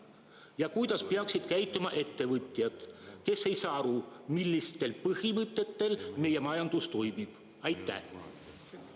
Ja kuidas peaksid käituma ettevõtjad, kes ei saa aru, millistel põhimõtetel meie majandus toimib?